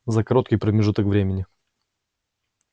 за короткий промежуток времени